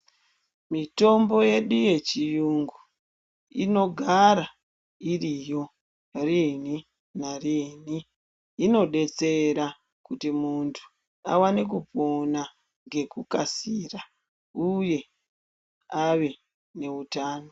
Mitombo yedu yechiyungu inogara iriyo riini nariini inodetsera kuti muntu awane kupona ngekukasira uye ave neutano.